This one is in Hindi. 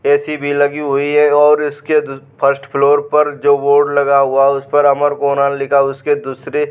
ए.सी. भी लगी हुई है और उसके द फर्स्ट फ्लोर पर जो बोर्ड लगा हुआ है उस पर अमरकोना लिखा उसके दूसरे --